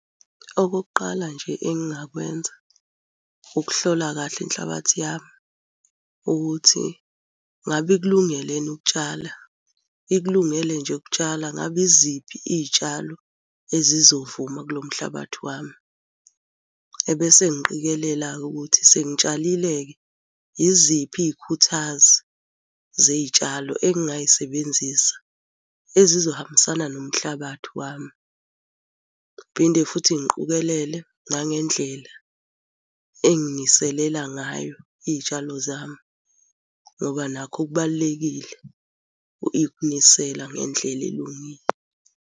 Okokuqala nje engingakwenza, ukuhlola kahle inhlabathi yami ukuthi ngabe ikulungele yini ukutshala. Ikulungele nje ukutshala ngabe yiziphi iy'tshalo ezizovuma kulo mhlabathi wami. Ebese ngiqikelela-ke ukuthi sengitshalile-ke, yiziphi iy'khuthazi zey'tshalo engingay'sebenzisa ezizohambisana nomhlabathi wami. Ngiphinde futhi ngiqukelele nangendlela enginiselela ngayo iy'tshalo zami, ngoba nakho kubalulekile ukunisela ngendlela elungile.